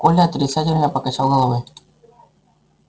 коля отрицательно покачал головой